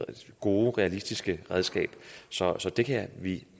gode og realistiske redskab så så det kan vi